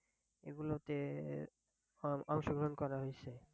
এগুলোতে অং~অংশগ্রহন করা হয়েছে।